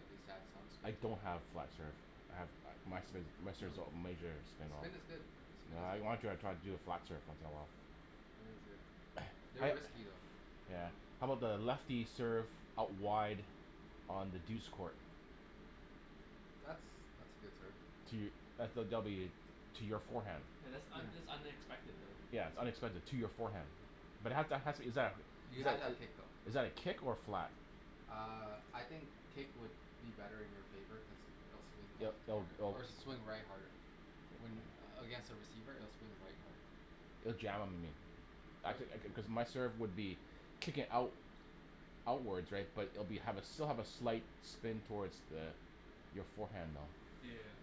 at least have some I spin don't have flat serve, I have my spin, my No serves, no has major spin all. Spin is good, spin is I good wanna try to do a flat serve once in a while They're risky though Yeah I'm about lefty serve out wide on the douce court? That's that's a good serve To, that's a W to your forehand. Oh Yeah that's un- that's unexpected though. its unexpected to your forehand, but it has, exactly, You but have to have that kick though is that a kick or a flat? Uh I think kick would be better in your favor cuz it'll swing left hard or swing right harder When against a receiver it'll swing right harder It'll jam in you. Actu- cuz my serve would be kicking out outwards right but it will have be still a slight spin toward the your forehand though. Yeah